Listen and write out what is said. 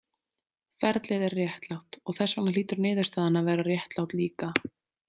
Ferlið er réttlátt, og þess vegna hlýtur niðurstaðan að vera réttlát líka.